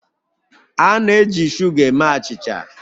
A na-eji shuga eme achịcha